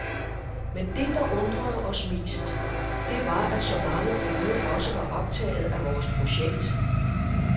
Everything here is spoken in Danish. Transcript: Men det der undrede os mest, det var at så mange unge også var optaget af vores projekt.